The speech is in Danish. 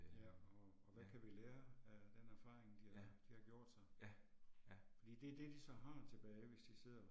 Ja, og og hvad kan vi lære af den erfaring, de har de har gjort sig. Fordi det er det de så har tilbage hvis de sidder